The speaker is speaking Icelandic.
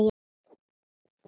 Og hann varð aftur Pési.